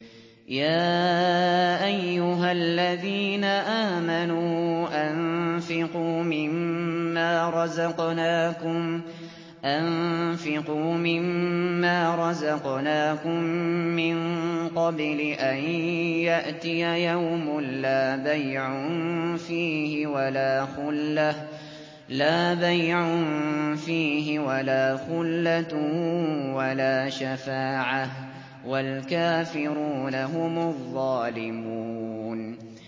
يَا أَيُّهَا الَّذِينَ آمَنُوا أَنفِقُوا مِمَّا رَزَقْنَاكُم مِّن قَبْلِ أَن يَأْتِيَ يَوْمٌ لَّا بَيْعٌ فِيهِ وَلَا خُلَّةٌ وَلَا شَفَاعَةٌ ۗ وَالْكَافِرُونَ هُمُ الظَّالِمُونَ